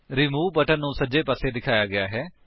remove button ਨੂੰ ਸੱਜੇ ਪਾਸੇ ਦਿਖਾਇਆ ਗਿਆ ਹੈ